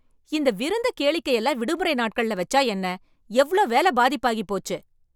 இந்த விருந்து, கேளிக்கை எல்லாம் விடுமுறை நாட்கள்ல வச்சா என்ன? எவ்ளோ வேலை பாதிப்பாகி போச்சு.